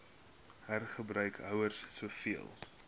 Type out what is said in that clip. hergebruik houers soveel